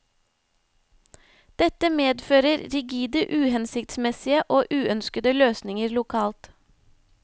Dette medfører rigide, uhensiktsmessige og uønskede løsninger lokalt.